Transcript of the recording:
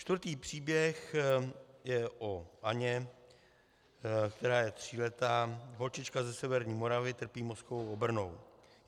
Čtvrtý příběh je o Anně, která je tříletá holčička ze severní Moravy, trpí mozkovou obrnou.